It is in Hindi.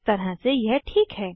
एक तरह से यह ठीक है